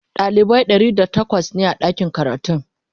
dalibai ɗari da takwas ne a ɗakin karatun